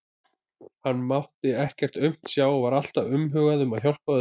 Hann mátti ekkert aumt sjá, var alltaf umhugað um að hjálpa öðrum.